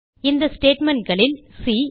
இந்த statementகளில் சி